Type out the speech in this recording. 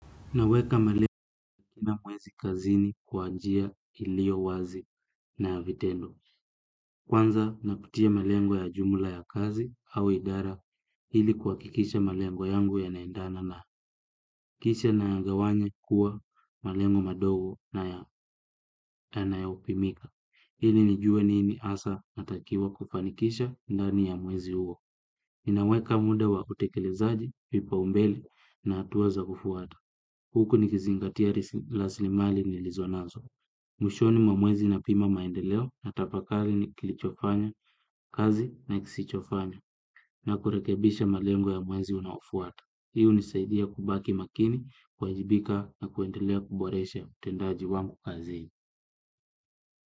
Naweka malengo na mwezi kazini kwa njia iliyo wazi na vitendo. Kwanza nakutia malengo ya jumla ya kazi au idara ili kuhakikisha malengo yangu yanaendana na kisha nayagawanya kuwa malengo madogo yanayopimika. Hili nijue nini hasa natakiwa kufanikisha ndani ya mwezi huo. Ninaweka muda wa utekelezaji vipaumbele na hatua za kufuata. Huku nikizingatia raslimali nilizo nazo. Mwishoni mwa mwezi napima maendeleo natafakari kilichofanya, kazi na kisichofanya na kurekebisha malengo ya mwezi unaofuata. Hii hunisaidia kubaki makini, kuwajibika na kuendelea kuboresha utendaji wangu kazini.